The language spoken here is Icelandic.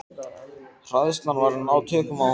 Hræðslan var að ná tökum á honum.